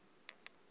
yonke loo mini